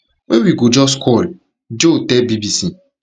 wey we go just call jo tell bbc